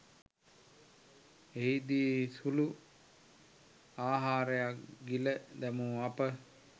එහිදී සුළු ආහරයක් ගිල දැමු අප